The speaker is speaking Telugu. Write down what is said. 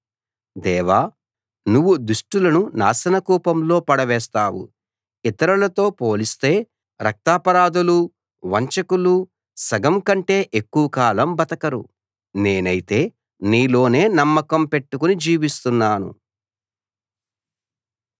దేవా నువ్వు దుష్టులను నాశనకూపంలో పడవేస్తావు ఇతరులతో పోలిస్తే రక్తాపరాధులు వంచకులు సగం కంటే ఎక్కువకాలం బతకరు నేనైతే నీలోనే నమ్మకం పెట్టుకుని జీవిస్తున్నాను